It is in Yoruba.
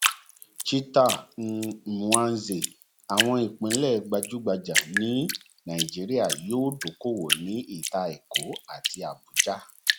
cheta um nwanze àwọn ìpínlẹ gbajúgbajà ní nàìjíríà yóò dókòwò ní ìta èkó àti abuja